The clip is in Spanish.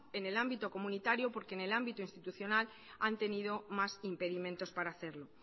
en el ámbito comunitario porque en el ámbito institucional han tenido más impedimentos para hacerlo